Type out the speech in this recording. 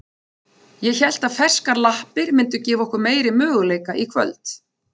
Ég hélt að ferskar lappir myndu gefa okkur meiri möguleika í kvöld.